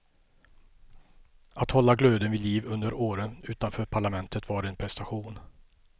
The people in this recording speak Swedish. Att hålla glöden vid liv under åren utanför parlamentet var en prestation.